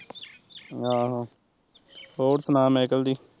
ਆਹੋ ਹੋਰ ਸੁਣਾ ਮੈਕਲ ਦੀ